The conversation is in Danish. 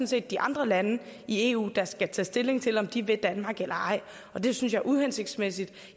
set de andre lande i eu der skal tage stilling til om de vil danmark eller ej og det synes jeg er uhensigtsmæssigt